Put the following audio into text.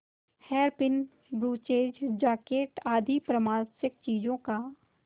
hairpin brooches jacket आदि परमावश्यक चीजों का